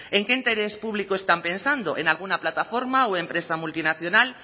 en qué interés público están pensando en alguna plataforma o empresa multinacional